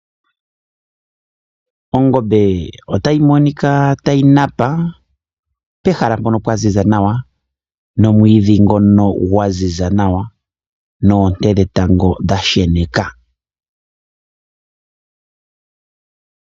Ongombe otayi monika tayi napa pehala mpono pwa ziza nawa nomwiidhi ngono gwa ziza nawa noonte dhetango dha sheneka.